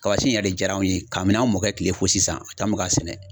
Kaba si in yɛrɛ diyar'anw ye kabin'an mɔkɛ tile fo sisan an bɛ ka sɛnɛ .